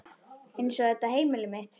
Eins og þetta heimili mitt!